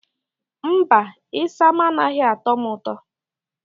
Mba, isam anaghị atọ m ụtọ.